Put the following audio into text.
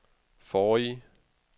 forrige